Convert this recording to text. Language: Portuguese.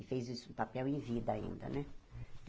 E fez esse em papel em vida ainda, né?